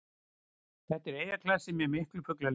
Þetta er eyjaklasi með miklu fuglalífi